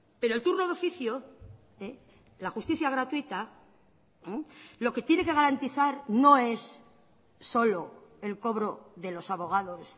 pero el turno de oficio la justicia gratuita lo que tiene que garantizar no es solo el cobro de los abogados